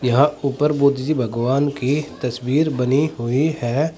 यहां ऊपर बुद्ध जी भगवान की तस्वीर बनी हुई है।